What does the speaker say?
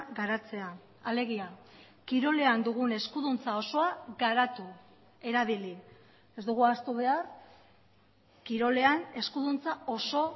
garatzea alegia kirolean dugun eskuduntza osoa garatu erabili ez dugu ahaztu behar kirolean eskuduntza oso